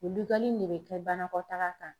O in ne bɛ kɛ banakɔtaga kan.